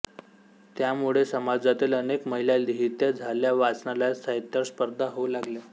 त्यामुळे समाजातील अनेक महिला लिहित्या झाल्या वाचनालयात साहित्यावर स्पर्धा होऊ लागल्या